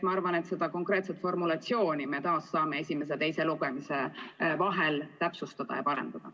Ma arvan, et seda konkreetset formulatsiooni me saame esimese ja teise lugemise vahel täpsustada ja parandada.